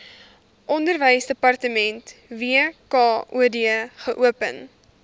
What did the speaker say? onderwysdepartement wkod geopen